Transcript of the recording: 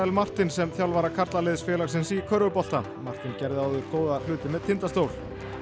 Martin sem þjálfara karlaliðs félagsins í körfubolta Martin gerði áður góða hluti með Tindastól